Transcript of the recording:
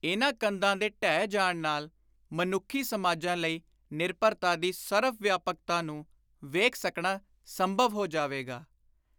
ਇਨ੍ਹਾਂ ਕੰਧਾਂ ਦੇ ਢਹਿ ਜਾਣ ਨਾਲ ਮਨੁੱਖੀ ਸਮਾਜਾਂ ਲਈ ਨਿਰਭਰਤਾ ਦੀ ਸਰਵ-ਵਿਆਪਕਤਾ ਨੂੰ ਵੇਖ ਸਕਣਾ ਸੰਭਵ ਹੋ ਜਾਵੇਗਾ।